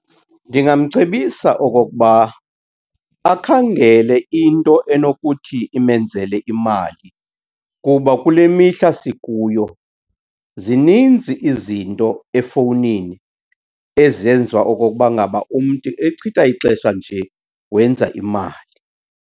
Ndingamcebisa okokuba akhangele into enokuthi imenzele imali kuba kule mihla sikuyo zininzi izinto efowunini ezenziwa okokuba ngaba umntu echitha ixesha nje, wenza imali.